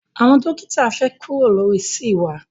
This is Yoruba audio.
Àwọn dókítà fẹ kuro lori ṣeé wa